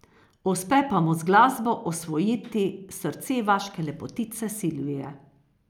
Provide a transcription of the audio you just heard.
Uspe pa mu z glasbo osvojiti srce vaške lepotice Silvije.